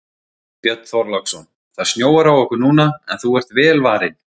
Björn Þorláksson: Það snjóar á okkur núna en þú ert vel varin?